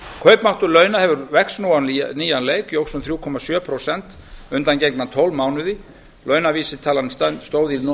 kaupmáttur launa vex nú á nýjan leik óx um þrjú komma sjö prósent undangengna tólf mánuði launavísitalan stóð í